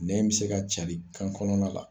Nɛn bɛ se ka carin kan kɔnɔna la.